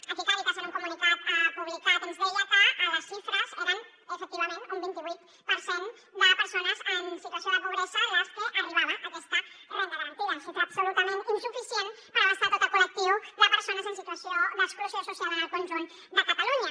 aquí càritas en un comunicat publicat ens deia que les xifres eren efectivament un vint i vuit per cent de persones en situació de pobresa a les que arribava aquesta renda garantida xifra absolutament insuficient per abastar tot el col·lectiu de persones en situació d’exclusió social en el conjunt de catalunya